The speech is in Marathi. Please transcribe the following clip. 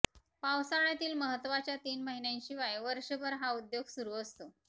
पावसाळ्यातील महत्वाच्या तीन महिन्यांशिवाय वर्षभर हा उद्योग सुरु असतो